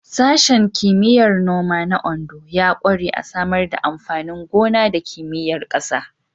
Sashen Kimiyyar Noma na Ondo ya ƙware a Samar da amfanin gona da Kimiyyar ƙasa.